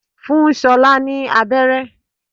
Fún ṣolá ni aberé.